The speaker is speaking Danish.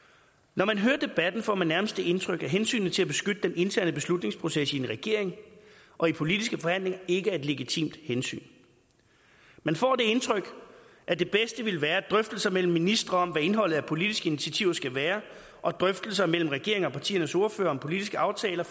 når man hører debatten får man nærmest det indtryk at hensynet til at beskytte den interne beslutningsproces i en regering og i politiske forhandlinger ikke er et legitimt hensyn man får det indtryk at det bedste ville være at drøftelser mellem ministre om hvad indholdet af politiske initiativer skal være og drøftelser mellem en regering og partiernes ordførere om politiske aftaler